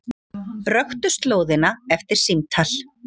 Röktu slóðina eftir símtal